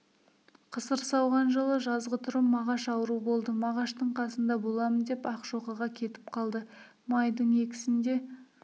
қысыр сауған жылы жазғытұрым мағаш ауру болды мағаштың қасында боламын деп ақшоқыға кетіп қалды майдың сінде